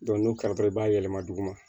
n'o kɛra dɔrɔn i b'a yɛlɛma duguma